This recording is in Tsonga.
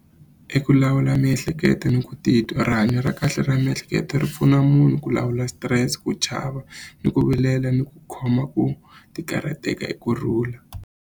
I ku lawula miehleketo ni ku titwa rihanyo ra kahle ra miehleketo ri pfuna munhu ku lawula stress ku chava ni ku vilela ni ku khoma ku ti karhateka hi kurhula.